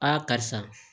karisa